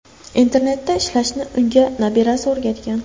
Internetda ishlashni unga nabirasi o‘rgatgan.